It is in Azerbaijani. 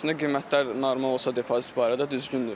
Əslində qiymətlər normal olsa depozit barədə düzgündür.